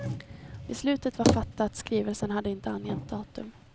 Beslutet var fattat, skrivelsen hade inte angett datum.